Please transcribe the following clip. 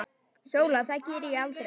SÓLA: Það geri ég aldrei!